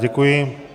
Děkuji.